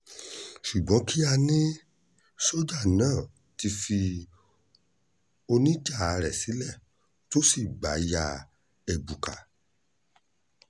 ṣùgbọ́n kíá ni sójà náà ti fi oníjà rẹ̀ sílẹ̀ tó sì gbà ya ẹ̀bùkà